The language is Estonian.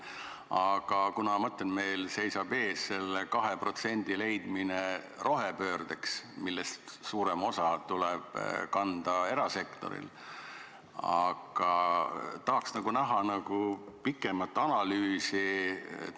Aga kuna meil seisab ees 2% leidmine rohepöördeks, milles suurem osa tuleb kanda erasektoril, siis tahaks näha pikemat analüüsi.